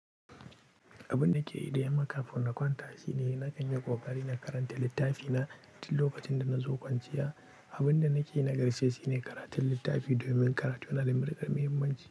Abin da ke yi da yamma kafin na kwanta shine na kanyi ƙoƙari na karanta littafi na tun lokacin da nazo kwanciya. Abin da nake yi na ƙarshe shine karatun littafi domin karatu yana da muhimmanci.